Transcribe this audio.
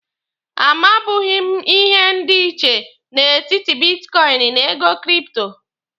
A mabughi m ihe dị iche n'etiti bitkọịnị na ego kripto.